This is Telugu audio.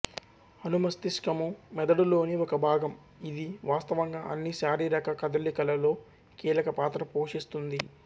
అనుమస్తిష్కము మెదడులోని ఒక భాగం ఇది వాస్తవంగా అన్ని శారీరక కదలికలలో కీలక పాత్ర పోషిస్తుంది